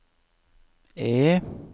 E